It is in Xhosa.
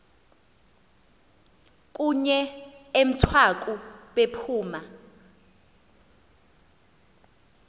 kunye emthwaku bephuma